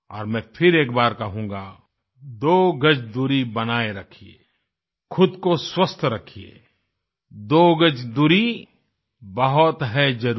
और मैं फिर एक बार कहूँगा दो गज दूरी बनाए रखिये खुद को स्वस्थ रखिये दो गज दूरी बहुत है ज़रूरी